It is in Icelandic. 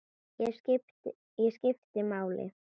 Ég skipti máli.